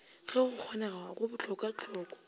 ge go kgonega go bohlokwahlokwa